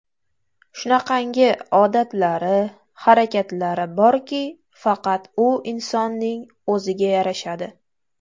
Shunaqangi odatlari, harakatlari borki, faqat u insonning o‘ziga yarashadi.